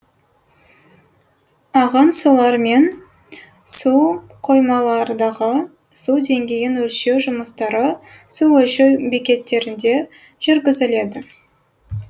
ағын сулар мен суқоймалардағы су деңгейін өлшеу жұмыстары су өлшеу бекеттерінде жүргізіледі